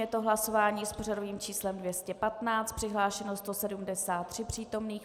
Je to hlasování s pořadovým číslem 215. Přihlášeno 173 přítomných.